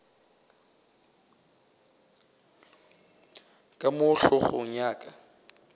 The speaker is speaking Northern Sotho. ka mo hlogong ya ka